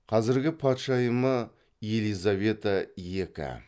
қазіргі патшайымы елизавета екі